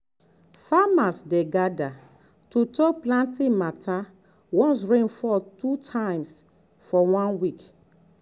farmers dey gather to talk planting matter once rain fall two times for one week.